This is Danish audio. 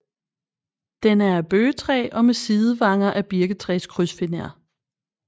Den er af bøgetræ og med sidevanger af birketræskrydsfiner